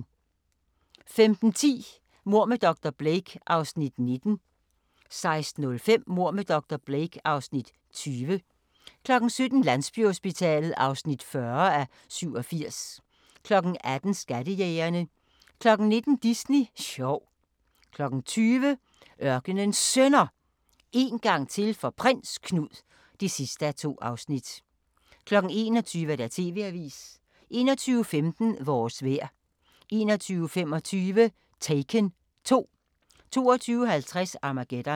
15:10: Mord med dr. Blake (Afs. 19) 16:05: Mord med dr. Blake (Afs. 20) 17:00: Landsbyhospitalet (40:87) 18:00: Skattejægerne 19:00: Disney sjov 20:00: Ørkenens Sønner – En gang til for Prins Knud (2:2) 21:00: TV-avisen 21:15: Vores vejr 21:25: Taken 2 22:50: Armageddon